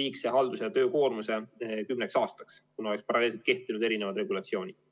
liigse haldus- ja töökoormuse kümneks aastaks, kuna paralleelselt oleks kehtinud eri regulatsioonid.